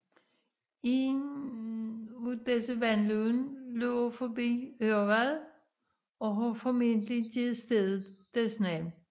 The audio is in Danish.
Et af disse vandløb løber forbi Ørvad og har formentlig givet stedet dets navn